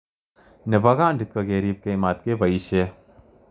Nebo kondit ko keripkei matkepoishe.